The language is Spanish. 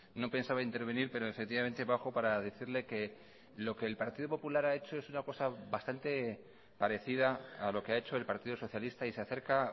no pensaba intervenir pero efectivamente bajo para decirle que lo que el partido popular ha hecho es una cosa bastante parecida a lo que ha hecho el partido socialista y se acerca